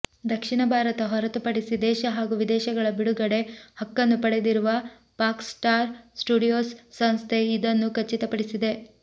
ದಕ್ಷಿಣ ಭಾರತ ಹೊರತುಪಡಿಸಿ ದೇಶ ಹಾಗೂ ವಿದೇಶಗಳ ಬಿಡುಗಡೆ ಹಕ್ಕನ್ನು ಪಡೆದಿರುವ ಫಾಕ್ಸ್ ಸ್ಟಾರ್ ಸ್ಟುಡಿಯೋಸ್ ಸಂಸ್ಥೆ ಇದನ್ನು ಖಚಿತಪಡಿಸಿದೆ